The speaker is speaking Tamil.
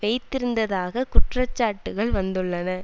வைத்திருந்ததாக குற்றச்சாட்டுக்கள் வந்துள்ளன